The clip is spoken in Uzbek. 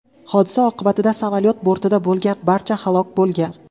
Hodisa oqibatida samolyot bortida bo‘lgan barcha halok bo‘lgan.